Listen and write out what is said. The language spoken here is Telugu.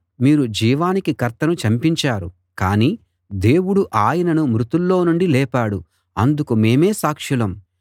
మీరు జీవానికి కర్తను చంపించారు కానీ దేవుడు ఆయనను మృతుల్లో నుండి లేపాడు అందుకు మేమే సాక్షులం